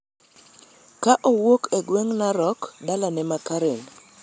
ka owuok e gweng� Narok e dalane ma Karen.